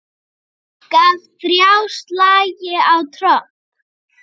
Gaf ÞRJÁ slagi á tromp.